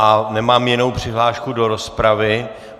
A nemám jinou přihlášku do rozpravy.